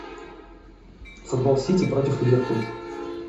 футбол сити против ливерпуль